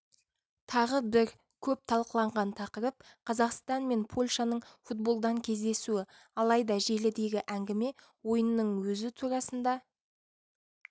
тағы бір көп талқыланған тақырып қазақстан мен польшаның футболдан кездесуі алайда желідегі әңгіме ойынның өзі турасында